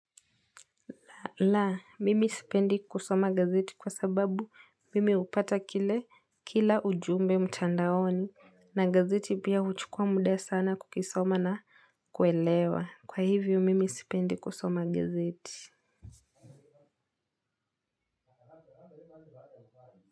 La, mimi sipendi kusoma gazeti kwa sababu mimi upata kila ujumbe mtandaoni na gazeti pia huchukua muda sana kukisoma na kuelewa. Kwa hivyo mimi sipendi kusoma gazeti.